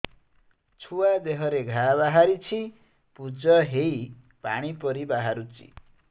ଛୁଆ ଦେହରେ ଘା ବାହାରିଛି ପୁଜ ହେଇ ପାଣି ପରି ବାହାରୁଚି